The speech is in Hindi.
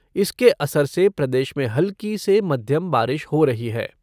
इसके असर से प्रदेश में हल्की से मध्यम बारिश हो रही है।